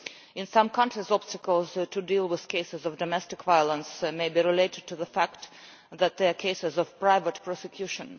In some countries, obstacles to dealing with cases of domestic violence may be related to the fact that they are cases for private prosecution.